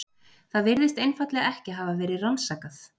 Það virðist einfaldlega ekki hafa verið rannsakað.